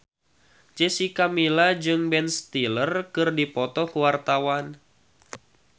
Jessica Milla jeung Ben Stiller keur dipoto ku wartawan